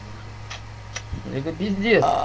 это пиздец